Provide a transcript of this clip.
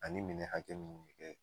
Ani minɛ hakɛ min mi kɛ